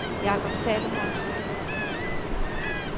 Jacob Salomonsen